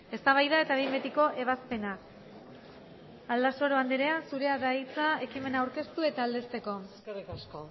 eztabaida eta behin betiko ebazpena aldasoro andrea zurea da hitza ekimena aurkeztu eta aldezteko eskerrik asko